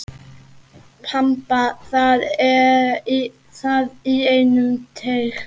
Þamba það í einum teyg.